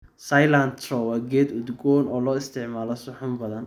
Cilantro waa geedo udgoon oo loo isticmaalo suxuun badan.